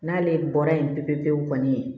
N'ale bɔra yen pepepewu kɔni